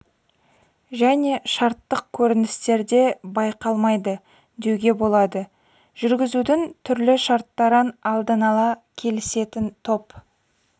және шарттық көріністерде байқалмайды деуге болады жүргізудің түрлі шарттарын алдын ала келісетін топ